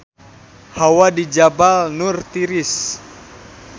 Hawa di Jabal Nur tiris